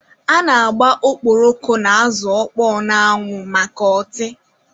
A na-agba okporoko na azụ ọkpọọ n'anwụ maka ọtị.